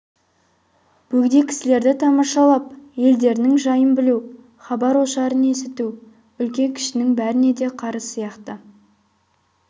бөгде кісілерді тамашалап елдерінің жайын білу хабар-ошарын есіту үлкен-кішінің бәріне де қарыз сияқты